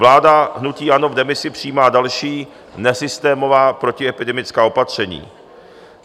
Vláda hnutí ANO v demisi přijímá další nesystémová protiepidemická opatření.